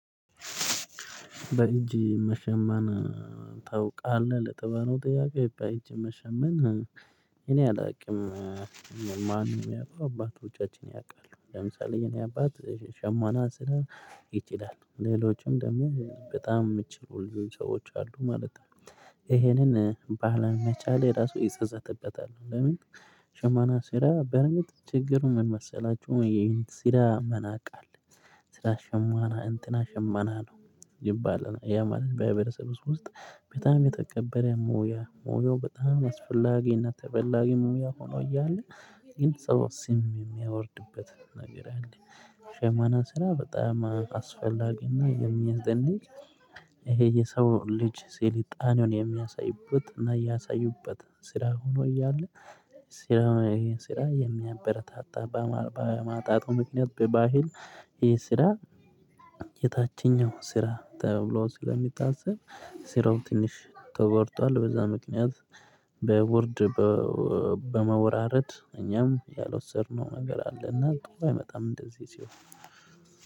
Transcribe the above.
በእጅ መሸመን ታውቃለህ ለተባለው ጥያቄው በእጅ መሸመን እኔ አላውቅም። ማንም ያው አባት ወጪዎችን ያውቃሉ ለምሳሌ የኔ አባት ሸማና ስራ ይችላል ሌሎችም ደግሞ በጣም ሚችሉ ልጆች ሰዎች አሉ ማለት ነው። ይሄንን ባለመቻሌ ራሱ እጸጸትበታለሁ። ለምን ሽማና ስራ በርንጥ ችግሩ ምን መሰላችሁ? ይሄን ሲላ መናቃል። ስላሸማና እንትና ሸማና ነው ይባላል ያ ማለት በህብረተሰብ ውስጥ በታም የተቀበለ ሙያ ሙያው በጣም አስፈላጊና ተበላጊ ሙያ ሆኖ እያለ። ግን ሰው ስም የሚያወርድበት ነገር አለ። ሸማና ስራ በጣም አስፈላጊና የሚያስደንቅ። ይሄ የሰው ልጅ ስልጣኔውን የሚያሳዩበት እና ያሳዩበት ስራ ሆኖ እያለ። ስለሆነ ይህን ስራ የሚያበረታታ በማጣ በማጣቱ ምክንያት በባህል ይሄ ስራ። የታችኛው ስራ ተብሎ ስለሚታሰብ ስራው ትንሽ ተቋርጧል በዛ ምክንያት። በውርድ በመውራረድ እኛም ያልወሰድነው ነገር አለ እና ጥሩ አይመጣም እንደዚህ ሲሆን።